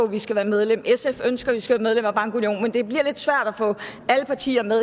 vi skal være medlem sf ønsker vi skal være medlem af bankunionen men det bliver lidt svært at få alle partier med